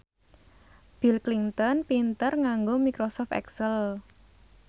Bill Clinton pinter nganggo microsoft excel